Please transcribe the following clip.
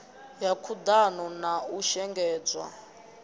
ya khuḓano na u shengedzwa